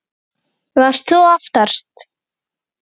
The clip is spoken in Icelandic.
Þóra: Varst þú aftast?